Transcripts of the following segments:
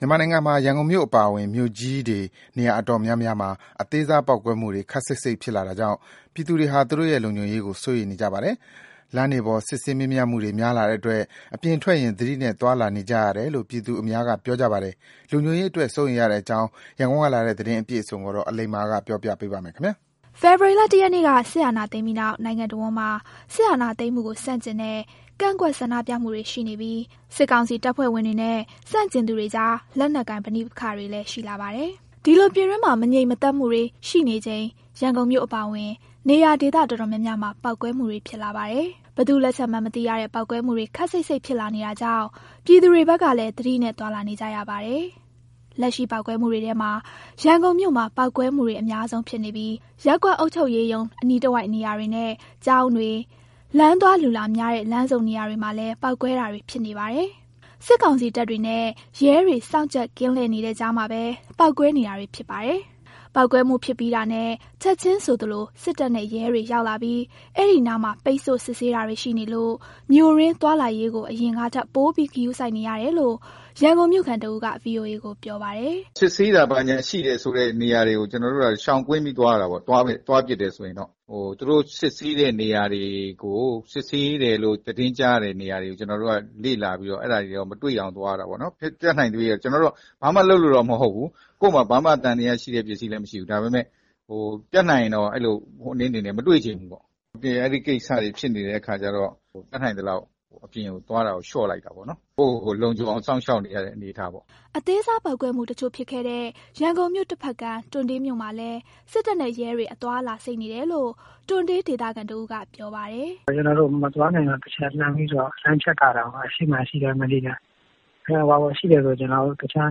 မြန်မာနိုင်ငံမှာ ရန်ကုန်မြို့အပါအဝင် မြို့ကြီးတွေ နေရာတော်တော်များများမှာ အသေးစား ပေါက်ကွဲမှုတွေ ခပ်စိပ်စိပ်ဖြစ်လာတာကြောင့် ပြည်သူတွေဟာ သူတို့ရဲ့လုံခြုံရေးကို စိုးရိမ်နေကြပါတယ်။ လမ်းတွေပေါ် စစ်ဆေးမေးမြန်းမှုတွေ များလာတဲ့အတွက် အိမ်ပြင်ထွက်ရင် သတိနဲ့ သွားလာနေကြရတယ်လို့ ပြည်သူအများက ပြောကြပါတယ်။ လုံခြုံရေးအတွက် စိုးရိမ်နေကြတဲ့အကြောင်း ရန်ကုန်ကလာတဲ့ ဒီသတင်းအပြည့်အစုံကိုတော့ အလိမ္မာ ပြောပြသွားမှာပါ။ ဖေဖော်ဝါရီလ ၁ရက်နေ့က စစ်အာဏာသိမ်းပြီးနောက် နိုင်ငံတဝန်းမှာ စစ်အာဏာသိမ်းမှုကို ဆန့်ကျင်တဲ့ ကန့်ကွက်ဆန္ဒပြမှုတွေ ရှိနေပြီး၊ စစ်ကောင်စီတပ်ဖွဲ့ဝင်တွေနဲ့ ဆန့်ကျင်သူတွေကြား လက်နက်ကိုင် ပဋိပက္ခတွေလည်း ရှိလာပါတယ်။ ဒီလို ပြည်တွင်းမှာ မငြိမ်သက်မှုတွေရှိနေချိန် ရန်ကုန်မြို့အပါအဝင် နေရာဒေသ တော်တော်များများမှာ ပေါက်ကွဲမှုတွေဖြစ်လာပါတယ်။ ဘယ်သူ့လက်ချက်မှန်း မသိရတဲ့ ပေါက်ကွဲမှုတွေ ခပ်စိပ်စိပ်ဖြစ်လာနေတာကြောင့် ပြည်သူတွေဖက်ကလည်း သတိနဲ့ သွားလာနေကြရပါတယ်။ လက်ရှိပေါက်ကွဲမှုတွေထဲမှာ ရန်ကုန်မြို့မှာ ပေါက်ကွဲမှုတွေ အများဆုံးဖြစ်နေပြီး ရပ်ကွက်အုပ်ချုပ်ရေးမှူးရုံး အနီးတဝိုက်နေရာတွေနဲ့ ကျောင်းတွေ၊ လူသွားလူလာများတဲ့ လမ်းဆုံနေရာတွေမှာလည်း ပေါက်ကွဲတာတွေ ဖြစ်နေပါတယ်။ စစ်ကောင်စီတပ်တွေနဲ့ ရဲတွေစောင့်ကြပ် ကင်းလှည့်နေတဲ့ကြားမှာပဲ ပေါက်ကွဲနေတာဖြစ်ပါတယ်။ ပေါက်ကွဲမှုဖြစ်ပြီးတာနဲ့ ချက်ချင်းဆိုသလို စစ်တပ်နဲ့ ရဲတွေရောက်လာပြီး အဲဒီနားမှာ ပိတ်ဆို့စစ်ဆေးတာတွေရှိနေလို့ မြို့တွင်းသွားလာရေးကို အရင်ကထက် ပိုပြီးဂရုစိုက်နေရတယ်လို့ ရန်ကုန်မြို့ခံတဦးက VOA ကိုပြောပါတယ်။ “စစ်ဆေးတာ ဘာညာရှိတဲ့ဆိုတဲ့ နေရာတွေကို ကျနော်တို့က ရှောင်ကွင်းပြီးသွားတာပေါ့။ သူတို့စစ်ဆေးတယ်လို့ သတင်းကြားတဲ့နေရာတွေကို လေ့လာပြီးတော့ မတွေ့အောင်သွားတာပေါ့နော်။ ကျနော်တို့က ဘာမှလုပ်လို့တော့ မဟုတ်ဘူး၊ ကိုယ့်မှာ သံသယဖြစ်စရာ ဘာပစ္စည်းမှလည်း မရှိဘူး။ ဒါပေမဲ့ တတ်နိုင်ရင်တော့ သူတို့တွေနဲ့ မတွေ့ချင်ဘူး။ အပြင်မှာ အဲဒီကိစ္စတွေ ဖြစ်နေတဲ့အခါကျတော့ တတ်နိုင်သလောက် အပြင်သွားတာကို လျှော့လိုက်တယ်။ ကိုယ့်ကိုယ်ကိုယ် လုံခြုံအောင် စောင့်ရှောက်နေရတဲ့ အနေအထားပေါ့။” အသေးစား ပေါက်ကွဲမှုတချို့ဖြစ်ခဲ့တဲ့ ရန်ကုန်မြို့ တဖက်ကမ်း တွံတေးမြို့မှာလည်း စစ်တပ်နဲ့ရဲတွေ အသွားအလာစိပ်နေတယ်လို့ တွံတေးဒေသခံတဦးက ပြောပါတယ်။ “ကျနော်တို့ အပြင်မသွားခင်တော့ တချက်လှမ်းဖြတ်ကြည့်ရတယ်။ အရှေ့မှာရှိတဲ့ဆိုရင် တခြား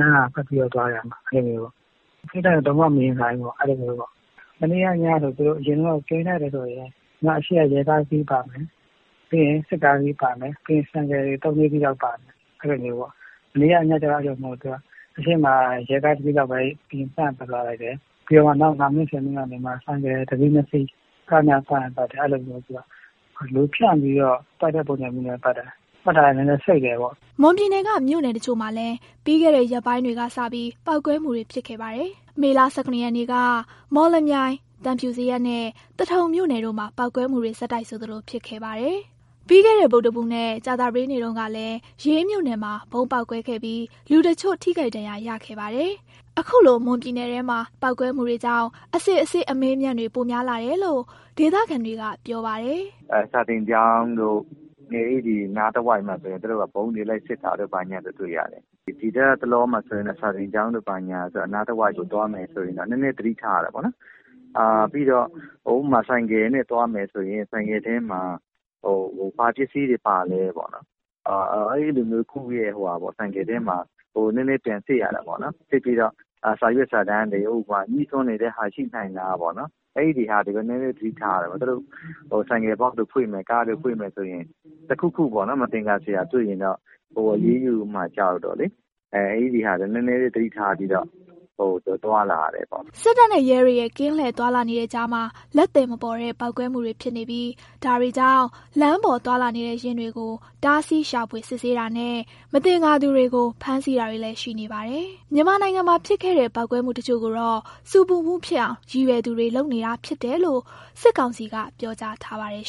လမ်းက ပတ်ပြီးတော့သွားတယ်။ ထိပ်တိုက်လုံးဝ ရင်မဆိုင်ဘူး။ အရင်က သူတို့ကင်းလှည့်တယ်ဆိုရင် အရှေ့မှာ ရဲကားတစီးပါတယ်။ ပြီးရင် စစ်ကားတစီးပါတယ်၊ ဆိုင်ကယ် ၃ - ၄စီး ပါတယ်။ မနေ့ကညကျတော့ အဲလိုမဟုတ်ဘူး။ အရှေ့မှာ ရဲကားတစီးလောက်ပဲ အရင်ကင်းလှည့်သွားလိုက်တယ်။ နောက် ၅မိနစ် - ၁၀မိနစ်လောက်နေမှ ဆိုင်ကယ် ၁စီး - ၂စီး သွားတယ်။ လူဖြန့်ပြီးတော့ ကင်းလှည့်တာလည်း နည်းနည်းစိပ်တယ်။” မွန်ပြည်နယ်က မြို့နယ်တချို့မှာလည်း ပြီးခဲ့တဲ့ ရက်ပိုင်းတွေကစပြီး ပေါက်ကွဲမှုတွေဖြစ်ခဲ့ပါတယ်။ မေလ ၁၇ ရက်နေ့က မော်လမြိုင်၊ သံဖြူဇရပ်နဲ့ သထုံမြို့နယ်တို့မှာ ပေါက်ကွဲမှုတွေဆက်တိုက်ဆိုသလို ဖြစ်ခဲ့ပါတယ်။ ပြီးခဲ့တဲ့ ဗုဒ္ဓဟူးနဲ့ ကြာသပတေးနေ့တုန်းကလည်း ရေးမြို့နယ်မှာ ဗုံးပေါက်ကွဲမှုရှိခဲ့ပြီး လူတချို့ ထိခိုက်ဒဏ်ရာ ရခဲ့ပါတယ်။ အခုလို မွန်ပြည်နယ်ထဲက ပေါက်ကွဲမှုတွေကြောင့် အစစ်အဆေးအမေးအမြန်းတွေ ပိုများလာတယ်လို့ ဒေသခံတွေက ပြောပါတယ်။ “စာသင်ကျောင်းတို့၊ နေအိမ်နားတဝိုက်တို့ဆိုရင် သူတို့ဗုံးတွေဘာတွေ လိုက်စစ်တာတွေ့ရတယ်။ ဒီလတ်တလောမှာဆိုရင် စာသင်းကျောင်းနားတဝိုက် သွားမယ်ဆိုရင် နည်းနည်းသတိထားရတယ်။ ဥပမာ - ဆိုင်ကယ်နဲ့သွားမယ်ဆိုရင် ဆိုင်ကယ်ထဲမှာ ဘာပစ္စည်းတွေပါလဲပေါ့။ အဲလို ကိုယ့်ဆိုင်ကယ်ကို ပြန်စစ်ရတာပေါ့။ စစ်ပြီးတော့ စာရွက်စာတမ်းတွေ၊ ငြိစွန်းနိုင်တာတွေ ရှိလားပေါ့။ အဲဒါတွေကို နည်းနည်းသတိထားရတယ်။ သူတို့ ဆိုင်ကယ် Box တွေကို ဖွင့်မယ်ဆိုရင် တခုခုမသင်္ကာစရာ တွေ့ရင်တော့ အရေးယူမှာကြောက်တော့ အဲဒါတွေကို သတိထားပြီးတော့ သွားလာရတယ်။” စစ်တပ်နဲ့ ရဲတွေရဲ့ ကင်းလှည့်သွားလာနေတဲ့ကြားမှာ လက်သည်မပေါ်တဲ့ ပေါက်ကွဲမှုတွေဖြစ်နေပြီး ဒါတွေကြောင့် လမ်းပေါ်သွားလာနေတဲ့ ယာဉ်တွေကို တားဆီးရှာဖွေ စစ်ဆေးတာနဲ့ မသင်္ကာသူတွေကို ဖမ်းဆီးတာတွေလည်း ရှိနေပါတယ်။ မြန်မာနိုင်ငံမှာ ဖြစ်ခဲ့တဲ့ ပေါက်ကွဲမှုတချို့ကိုတော့ ဆူပူမှုဖြစ်အောင် ရည်ရွယ်သူတွေက လုပ်နေတာဖြစ်တယ်လို့ စစ်ကောင်စီက ပြောကြားထားပါတယ်